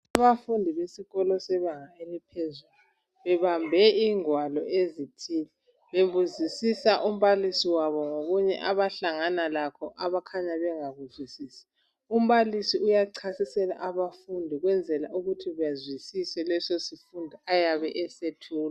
Abafundi besikolo sebanga eliphezulu, bebambe ingwalo ezithile, bebuzisisa umbalisi wabo ngokunye abahlangana lakho abakhanya bengakuzwisi. Umbalisi uyachasisela abafundi ukwenzela ukuthi bazwisise leso sifundo ayabe esethula.